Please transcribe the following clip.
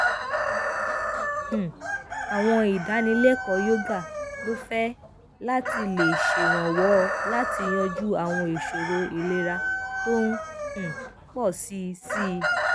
um àwọn ìdánilẹkọọ yoga lófẹẹ láti lè ṣèrànwọ láti yanjú àwọn ìṣòro ìlera tó ń um pọ sí sí i